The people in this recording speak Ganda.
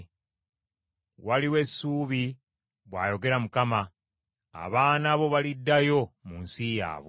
Waliwo essuubi, bw’ayogera Mukama . Abaana bo baliddayo mu nsi yaabwe.